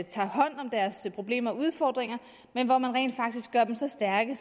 tager hånd om deres problemer og udfordringer men at man rent faktisk gør dem så stærke